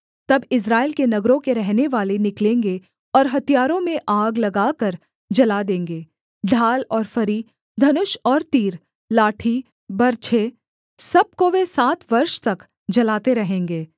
तब इस्राएल के नगरों के रहनेवाले निकलेंगे और हथियारों में आग लगाकर जला देंगे ढाल और फरी धनुष और तीर लाठी बर्छे सब को वे सात वर्ष तक जलाते रहेंगे